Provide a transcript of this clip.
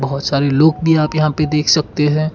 बहुत सारे लोग भी यहां पे देख सकते हैं।